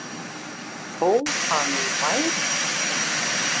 Þó það nú væri